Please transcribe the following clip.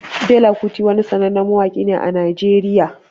Fela Kuti wani sanannen mawaƙi ne a Najeriya